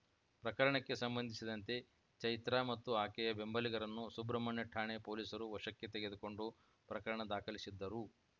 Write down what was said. ಪ್ರಕರಣಕ್ಕೆ ಸಂಬಂಧಿಸಿದಂತೆ ಚೈತ್ರಾ ಮತ್ತು ಆಕೆಯ ಬೆಂಬಲಿಗರನ್ನು ಸುಬ್ರಹ್ಮಣ್ಯ ಠಾಣೆ ಪೊಲೀಸರು ವಶಕ್ಕೆ ತೆಗೆದುಕೊಂಡು ಪ್ರಕರಣ ದಾಖಲಿಸಿದ್ದರು